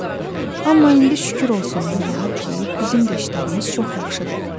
Amma indi şükür olsun Allaha ki, bizim də işlərimiz çox yaxşıdır.